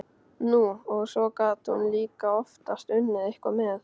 Nú, og svo gat hún líka oftast unnið eitthvað með.